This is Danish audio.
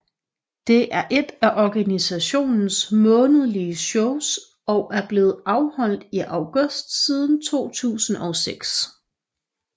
Det er ét af organisationens månedlige shows og er blevet afholdt i august siden 2006